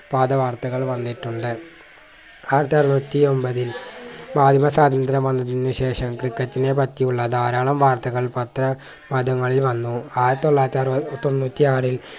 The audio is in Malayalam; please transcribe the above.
പാത വാർത്തകൾ വന്നിട്ടുണ്ട് ആയിരത്തി അറുന്നൂറ്റി ഒമ്പതിൽ സ്വാതന്ത്ര്യം വന്നതിന് ശേഷം ക്രിക്കറ്റിനെ പറ്റിയുള്ള ധാരാളം വാർത്തകൾ പത്ര മാധ്യമങ്ങളിൽ വന്നു ആയിരത്തി തൊള്ളയിരത്തി അറുപ തൊണ്ണൂറ്റി ആറിൽ